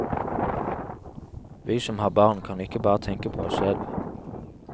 Vi som har barn, kan ikke bare tenke på oss selv.